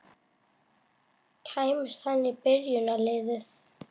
Kæmist hann í byrjunarliðið?